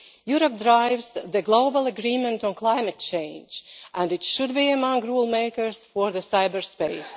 Europe drives the global agreement on climate change and it should be among the rule makers for cyber space.